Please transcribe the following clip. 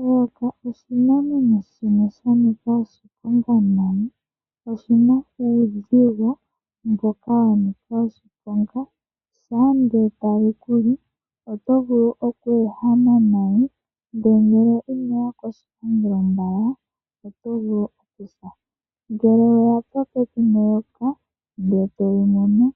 Eyoka oshinamwenyo shimwe sha nika oshiponga nani. Oshina uuzigo mboka wa nika oshiponga. Shaa nde tali kuli oto vulu oku ehama nayi. Ndele ngele inoya koshipangelo mbala oto vulu okusa. Ngele weya popepi neyoka nde toli mono